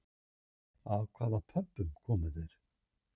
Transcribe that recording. Af hvaða Pöbbum komu þeir?